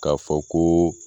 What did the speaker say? K'a fɔ koo